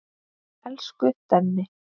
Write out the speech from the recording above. Elsku Denni.